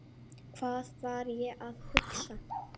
Hvað var ég að hugsa?